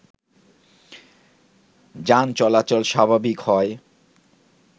যান চলাচল স্বাভাবিক হয়